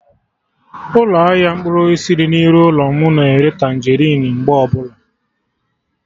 Ụlọ ahịa mkpụrụ osisi dị na iru ụlọ mụ na-ere Tanjerịn mgbe ọbụla